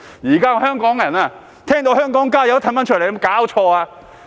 現在的香港人聽到"香港加油"也退出來，有沒有搞錯？